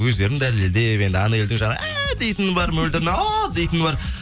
өздерін дәлелдеп енді анельдің жаңағы әәә дейтіні бар мөлдірдің ааа дейтіні бар